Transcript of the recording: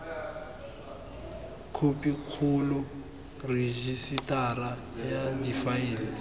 khopikgolo rejisetara ya difaele tse